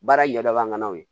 Baara ɲɛ daban'o ye